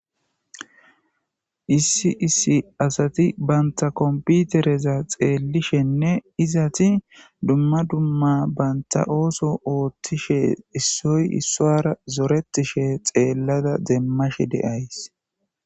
Issi issi asati ba komipitereta xelishene duma duma banitta osso othishe issoyi isuwara zoretishe deyissa ta demashe dayisi